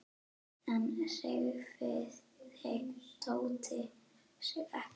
Enn hreyfði Tóti sig ekki.